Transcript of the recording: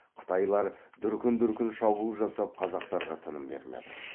қытайлар дүркін дүркін шабуыл жасап қазақтарға тыным бермеді